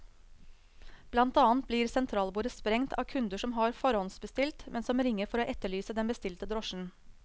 Blant annet blir sentralbordet sprengt av kunder som har forhåndsbestilt, men som ringer for å etterlyse den bestilte drosjen.